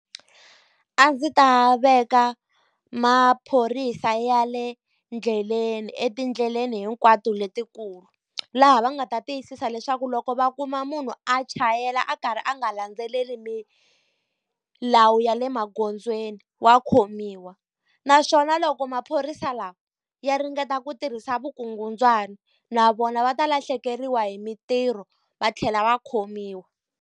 A ndzi ta veka maphorisa ya le ndleleni etindleleni hinkwato letikulu. Laha va nga ta tiyisisa leswaku loko va kuma munhu a chayela a karhi a nga landzeleli milawu ya le magondzweni wa khomiwa. Naswona loko maphorisa lawa ya ringeta ku tirhisa vukungundzwani, na vona va ta lahlekeriwa hi mitirho va tlhela va khomiwa.